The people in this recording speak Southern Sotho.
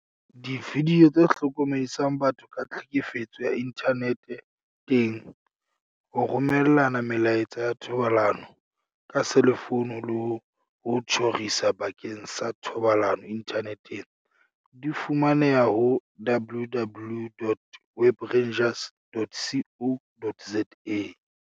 Dividio tse hlokomedisang batho ka tlhekefetso ya inthane teng, ho romellana melaetsa ya thobalano ka selefouno le ho tjhorisa bakeng sa thobalano inthaneteng, di fumaneha ho www.webrangers.co.za.